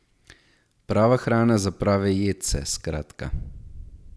Prava hrana za prave jedce, skratka.